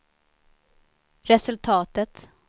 resultatet